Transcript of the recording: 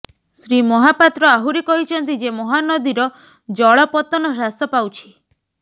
ଶ୍ରୀ ମହାପାତ୍ର ଆହୁରି କହିଛନ୍ତି ଯେ ମହାନଦୀର ଜଳ ପତ୍ତନ ହ୍ରାସ ପାଉଛି